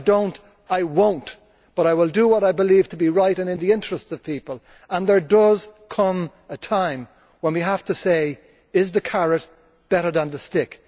If I do not, I will not. But I will do what I believe to be right and in the interests of people, and there does come a time when we have to say is the carrot better than the stick?